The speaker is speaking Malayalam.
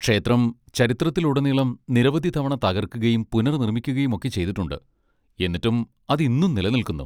ക്ഷേത്രം ചരിത്രത്തിലുടനീളം നിരവധി തവണ തകർക്കുകയും പുനർനിർമ്മിക്കുകയും ഒക്കെ ചെയ്തിട്ടുണ്ട്, എന്നിട്ടും അത് ഇന്നും നിലനിൽക്കുന്നു.